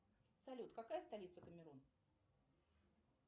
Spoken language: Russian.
салют какая столица камерун